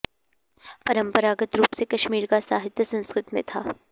परम्परागत रूप से कश्मीर का साहित्य संस्कृत में था